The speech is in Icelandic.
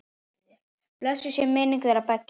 Blessuð sé minning þeirra beggja.